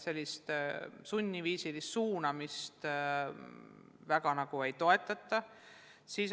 Sellist sunniviisilist suunamist väga ei toetata.